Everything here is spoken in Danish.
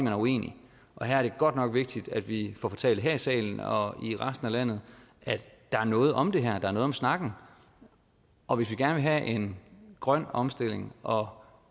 er uenig her er det godt nok vigtigt at vi får fortalt her i salen og i resten af landet at der er noget om det her at der er noget om snakken og hvis vi gerne vil have en grøn omstilling og